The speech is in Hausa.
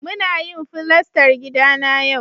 Muna yin fulastar gida na yau